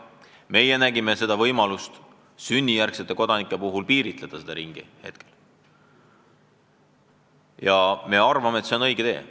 Meie nägime võimalust sünnijärgsete kodanike puhul riikide ringi piiritleda ja me arvame, et see on õige tee.